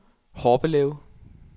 Horbelev